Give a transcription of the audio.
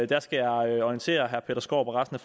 der skal jeg orientere herre peter skaarup og resten